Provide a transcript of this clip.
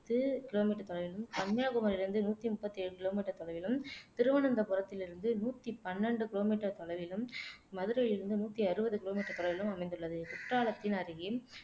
ஐந்து கிலோமீட்டர் தொலைவிலும் கன்னியாகுமரியிலிருந்து நூத்தி முப்பத்து ஏழு கிலோமீட்டர் தொலைவிலும் திருவனந்தபுரத்திலிருந்து நூத்தி பன்னெண்டு கிலோமீட்டர் தொலைவிலும் மதுரையில் இருந்து நூத்தி அறுபது கிலோமீட்டர் தொலைவிலும் அமைந்துள்ளது குற்றாலத்தின் அருகே